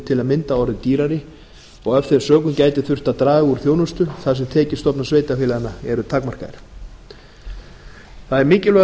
til að mynda orðið dýrari og af þeim sökum getur þurft að draga úr þjónustu þar sem tekjustofnar sveitarfélaganna eru takmarkaðir það er mikilvægur